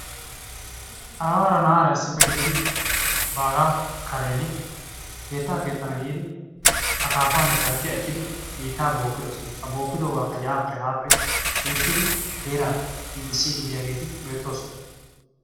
Aawara na'aara issippe gididi baaga karen keettaa keexxana giidi akaapaanne shalkkiyaa ekkidi biitta bookkidosona. ha bookkidoogakka yaappe haappe giigissidi heeraa giigissiiddi diyaageeti beettoosona.